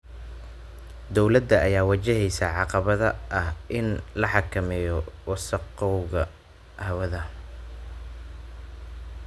Dowladda ayaa wajaheysa caqabada ah in la xakameeyo wasakhowga hawada.